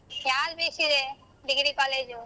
ಯಾವ್ degree college .